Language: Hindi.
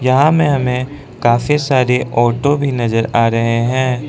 यहां में हमें काफी सारे ऑटो भी नजर आ रहे हैं।